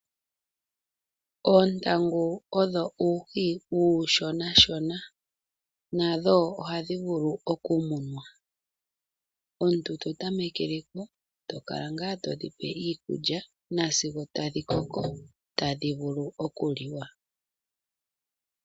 Oontangu odho uuhi uushonashona nadho ohadhi vulu okumunwa. Omuntu to tamekele ko to kala ngaa to dhi pe iikulya nasigo tadhi koko tadhi vulu okuliwa.